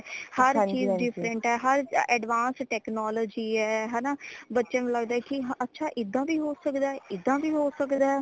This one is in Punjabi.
ਹਰ ਚੀਜ਼ different ਹੈ ਹਰ advance technology ਹੈ ਹੈ ਨਾ ਬੱਚਿਆਂ ਨੂ ਲਗਦਾ ਹੈ ਕੀ ਅੱਛਾ ਇਦਾ ਵੀ ਹੋ ਸਕਦਾ ਹੈ ਇਦਾ ਵੀ ਹੋ ਸਕਦਾ ਹੈ